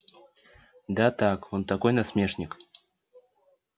да так он такой насмешник